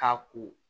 K'a ko